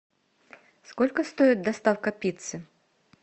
сколько стоит доставка пиццы